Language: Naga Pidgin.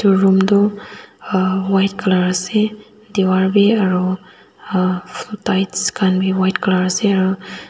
room tu aa white colour ase diwar bhi aru a tails khan bhi white colour ase.